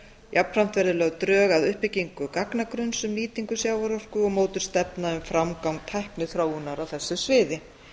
jafnframt verði lögð drög að uppbyggingu gagnagrunns um nýtingu sjávarorku og mótuð stefna um framgang tækniþróunar á þessu sviði